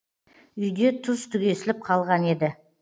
үйде тұз түгесіліп қалған еді